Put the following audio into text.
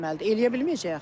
Eləyə bilməyəcək axı.